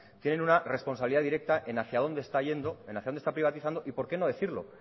tienen una responsabilidad directa en hacia dónde está yendo y hacia dónde está privatizando y por qué no decirlo